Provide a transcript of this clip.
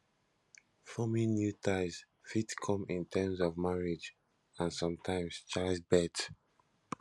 forming new ties fit come in terms of marriage and sometimes childbirth